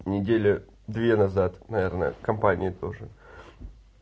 недели две назад наверное в компании тоже